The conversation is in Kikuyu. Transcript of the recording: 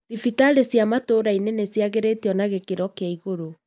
Dhibitarĩ cia matũrainĩ nĩ cĩagĩrĩtĩo na gĩkiro kia igũru.